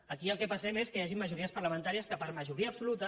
aquí al que passem és al fet que hi hagin majories parlamentàries que per majoria absoluta